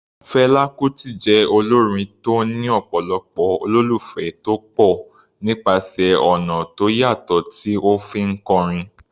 Fela Kuti jẹ́ olórin tó ní ọ̀pọ̀lọpọ̀ olólùfẹ́ tó pọ̀ nípasẹ̀ ọ̀nà tó yàtọ̀ tí ó fi ń kọrin.